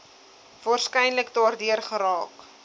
waarskynlik daardeur geraak